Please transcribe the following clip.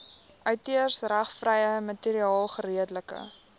outeursregvrye materiaal geredelik